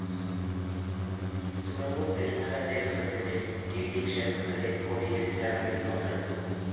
തുറവൂര്‍ തിരുമല ദേവസ്വത്തിന്റെ ട്‌ ഡി ക്ഷേത്രത്തിലെ കൊടിയേറ്റ് ചടങ്ങിലും പങ്കെടുത്തു